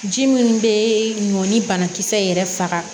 Ji minnu bɛ nɔ ni banakisɛ yɛrɛ faga